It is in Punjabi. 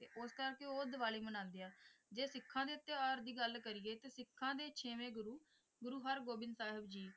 ਤੇ ਉਸ ਕਰਕੇ ਉਹ ਦੀਵਾਲੀ ਮਨਾਉਂਦੇ ਹੈ ਜੇ ਸਿੱਖਾਂ ਦੇ ਤਿਉਹਾਰ ਦੀ ਗੱਲ ਕਰੀਏ ਤਾਂ ਸਿਖਾਂ ਦੇ ਛੇਵੇਂ ਗੁਰੂ ਗੁਰੂ ਹਰਗੋਬਿੰਦ ਸਾਹਿਬ ਜੀ